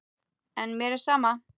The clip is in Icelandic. En mér er sama.